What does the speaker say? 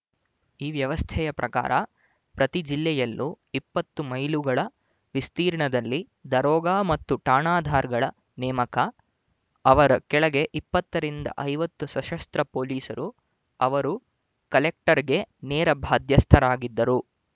ಈ ವ್ಯವಸ್ಥೆಯ ಪ್ರಕಾರ ಪ್ರತಿ ಜಿಲ್ಲೆಯಲ್ಲೂ ಇಪ್ಪತ್ತು ಮೈಲುಗಳ ವಿಸ್ತೀರ್ಣದಲ್ಲಿ ದರೋಗ ಮತ್ತು ಠಾಣದಾರ್‍ಗಳ ನೇಮಕ ಅವರ ಕೆಳಗೆ ಇಪ್ಪತ್ತ ರಿಂದ ಐವತ್ತು ಸಶಸ್ತ್ರ ಪೋಲೀಸರು ಅವರು ಕಲೆಕ್ಟರ್‌ಗೆ ನೇರ ಬಾಧ್ಯಸ್ಥರಾಗಿದ್ದರು